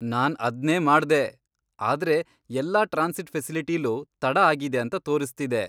ನಾನ್ ಅದ್ನೇ ಮಾಡ್ದೆ, ಆದ್ರೆ ಎಲ್ಲಾ ಟ್ರಾನ್ಸಿಟ್ ಫೆಸಿಲಿಟಿಲೂ ತಡ ಆಗಿದೆ ಅಂತ ತೋರಿಸ್ತಿದೆ.